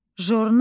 Jurnal.